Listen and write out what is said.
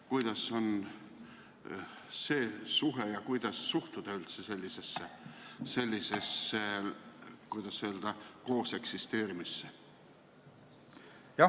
Kuidas see suhe on ja kuidas suhtuda üldse sellisesse, kuidas öelda, kooseksisteerimisse?